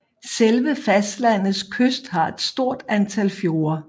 Selve fastlandets kyst har et stort antal fjorde